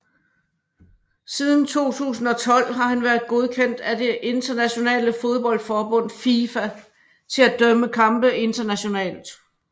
Siden 2012 har han været godkendt af det internationale fodboldforbund FIFA til at dømme kampe internationalt